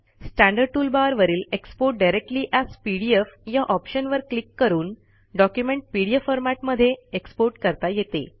standard toolbar वरील export directly AS PDF या ऑप्शनवर क्लिक करून डॉक्युमेंट पीडीएफ फॉरमॅट मध्ये एक्सपोर्ट करता येते